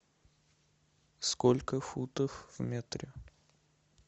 сколько футов в метре